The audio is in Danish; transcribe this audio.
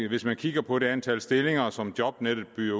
hvis man kigger på det antal stillinger som jobnet udbyder